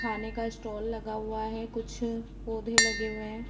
खाने का स्टॉल लगा हुआ है कुछ पौधे लगे हुए है।